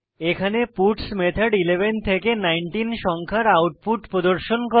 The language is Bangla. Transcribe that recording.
এখানে পাটস মেথড 11 থেকে 19 সংখ্যার আউটপুট প্রদর্শন করে